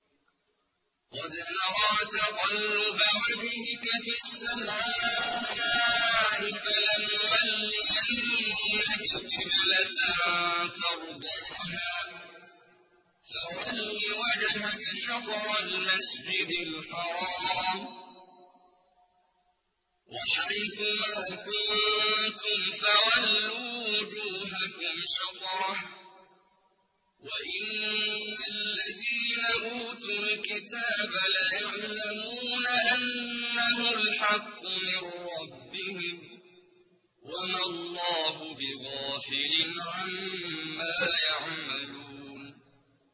قَدْ نَرَىٰ تَقَلُّبَ وَجْهِكَ فِي السَّمَاءِ ۖ فَلَنُوَلِّيَنَّكَ قِبْلَةً تَرْضَاهَا ۚ فَوَلِّ وَجْهَكَ شَطْرَ الْمَسْجِدِ الْحَرَامِ ۚ وَحَيْثُ مَا كُنتُمْ فَوَلُّوا وُجُوهَكُمْ شَطْرَهُ ۗ وَإِنَّ الَّذِينَ أُوتُوا الْكِتَابَ لَيَعْلَمُونَ أَنَّهُ الْحَقُّ مِن رَّبِّهِمْ ۗ وَمَا اللَّهُ بِغَافِلٍ عَمَّا يَعْمَلُونَ